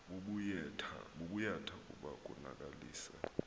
bubuyatha kuba konakalisa